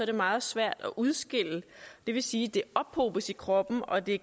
det meget svært at udskille det vil sige at det ophobes i kroppen og det